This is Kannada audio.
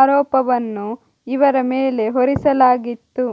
ಆರೋಪವನ್ನು ಇವರ ಮೇಲೆ ಹೊರಿಸಲಾಗಿತ್ತು